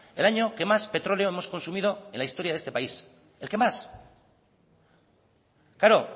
el año que más petróleo hemos consumido en la historia de este país el que más claro